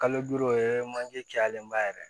Kalo duuru o ye manje cayalenba yɛrɛ ye